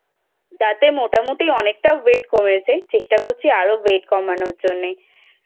তাতে মোটামুটি অনেকটা Weight কমেছে. চেষ্টা করছি আরো Weight কমানোর জন্য।